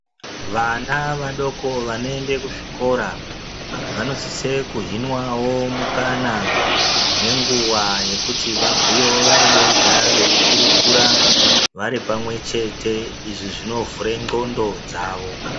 Vana vadoko vanoende kuzvikora vanosise kuhinwawo mukana nenguwa yekuti vabhuyewo vari vega veikurukura vari pamwechete izvi zvinovhure nxondo dzavo.